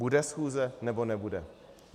Bude schůze, nebo nebude?